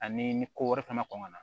Ani ni ko wɛrɛ kana kɔn kana na